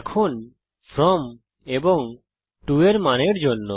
এখন ফ্রম এবং To এর মানের জন্য